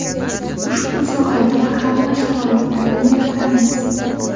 Ushbu sohaga hamma sharoitlarni yaratamiz.